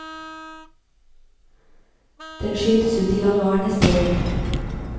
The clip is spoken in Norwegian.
Den skytes ut i januar neste år.